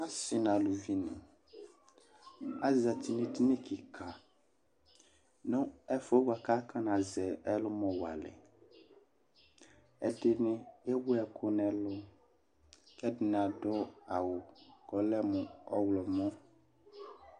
Asi n',aluvi ni axti n'ediŋi kika nʋ ɛfʋ yɛ bua k'aka nazɛ ɛlʋmɔ walɛ ɛdini ewu ɛkʋ n'ɛlʋ, k'ɛdini adʋ awʋ k'ɔlɛ mʋ ɔɣlɔmɔ